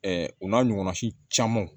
o n'a ɲɔgɔnna si camanw